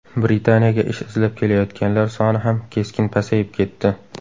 Britaniyaga ish izlab kelayotganlar soni ham keskin pasayib ketdi.